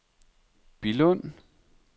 Billund